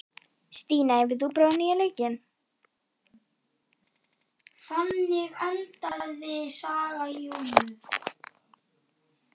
Stína, hefur þú prófað nýja leikinn?